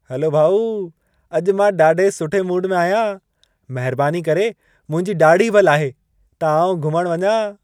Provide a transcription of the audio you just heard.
Hello भाउ। अॼु मां ॾाढे सुठे मूड में आहियां। महिरबानी करे मुंहिंजी ॾाढ़ी बि लाहे, त आउं घुमण वञा।